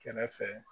Kɛrɛfɛ